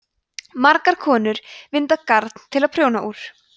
margar konur vinda garn til að prjóna úr